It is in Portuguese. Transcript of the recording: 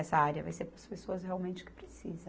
Essa área vai ser para as pessoas realmente que precisa.